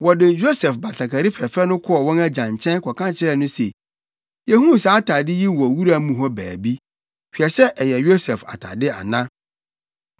Wɔde Yosef batakari fɛfɛ no kɔɔ wɔn agya nkyɛn kɔka kyerɛɛ no se, “Yehuu saa atade yi wɔ wura mu hɔ baabi. Hwɛ sɛ ɛyɛ Yosef atade ana?”